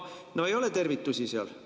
No ei ole tervitusi seal.